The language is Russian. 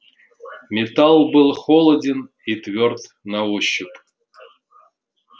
металл был холоден и твёрд на ощупь